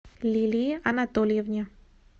лилии анатольевне